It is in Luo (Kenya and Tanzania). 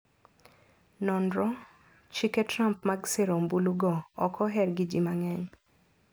Nonro: Chike Trump mag sero ombulu go ok oher gi ji mang`eny.